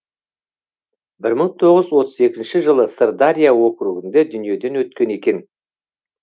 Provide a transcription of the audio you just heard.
бір мың тоғыз жүз отыз екінші жылы сырдария округінде дүниеден өткен екен